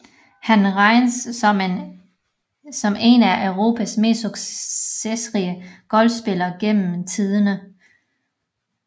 Han regnes som en af Europas mest succesrige golfspillere gennem tiderne